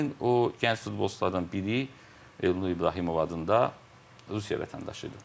Və həmin o gənc futbolçulardan biri Elnur İbrahimov adında Rusiya vətəndaşı idi.